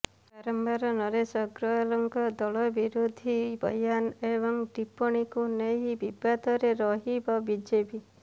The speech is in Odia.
ବାରମ୍ବାର ନରେଶ ଅଗ୍ରୱାଲଙ୍କ ଦଳବିରୋଧୀ ବୟାନ୍ ଏବଂ ଟିପ୍ପଣୀକୁ ନେଇ ବିବାଦରେ ରହିବ ବିଜେପି